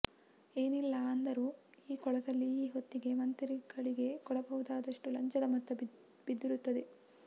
ಏನಿಲ್ಲ ಅಂದರೂ ಈ ಕೊಳದಲ್ಲಿ ಈ ಹೊತ್ತಿಗೆ ಮಂತ್ರಿಗಳಿಗೆ ಕೊಡಬಹುದಾದಷ್ಟು ಲಂಚದ ಮೊತ್ತ ಬಿದ್ದಿರುತ್ತದೆ